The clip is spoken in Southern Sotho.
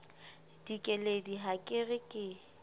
dikeledi ha ke re ke